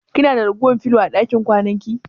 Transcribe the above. Kina da ragowar filo a ɗakin kwananki?